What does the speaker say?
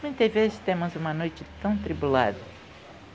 Muitas vezes temos uma noite tão tribulada.